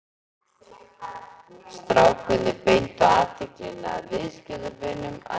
Strákarnir beindu athyglinni að viðskiptunum að nýju.